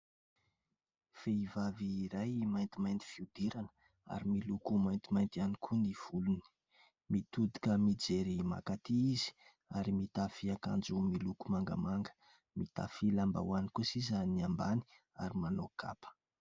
Vehivavy iray maintimainty fihodirana ary miloko maintimainty iany koa ny volony. Mitodika mijery makaty izy ary mitafy ankanjo miloko mangamanga. Mitafy lambahoany kosa izy ny ambany ary manao kapa.